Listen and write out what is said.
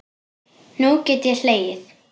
Nú get ég hlegið.